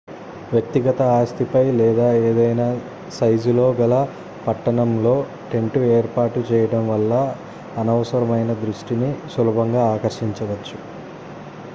వ్యక్తిగత ఆస్తిపై లేదా ఏదైనా సైజులో గల పట్టణంలో టెంట్ ఏర్పాటు చేయడం వల్ల అనవసరమైన దృష్టిని సులభంగా ఆకర్షించవచ్చు